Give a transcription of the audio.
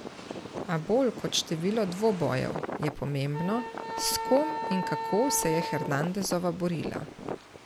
A bolj kot število dvobojev, je pomembno, s kom in kako se je Hernandezova borila.